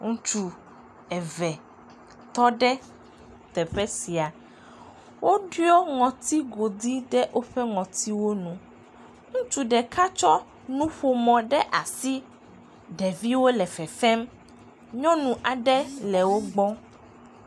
ŋutsu eve tɔɖe teƒe sia woɖiɔ ŋɔti godi ɖe wóƒe ŋɔtiwo nu ŋutsu ɖeka tsɔ nuƒomɔ ɖe asi ɖeviwo le fefem nyɔnu aɖe le wó kpɔm